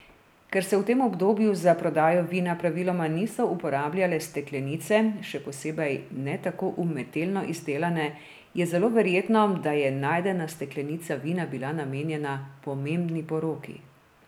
Ker se v tem obdobju za prodajo vina praviloma niso uporabljale steklenice, še posebej ne tako umetelno izdelane, je zelo verjetno, da je najdena steklenica vina bila namenjena pomembni poroki.